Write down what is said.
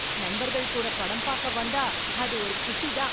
நண்பர்கள் கூட படம் பாக்க வந்தா அது ஒரு குஷி தான்.